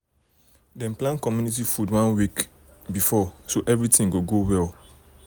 dem plan community food one week one week before so everything go go well